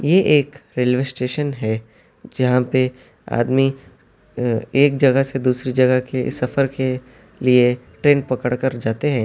یہ ایک railway station ہے جہاں پہ ادمی ایک جگہ سے دوسری جگہ کے سفر کے لیے ٹرین پکڑ کر جاتے ہیں.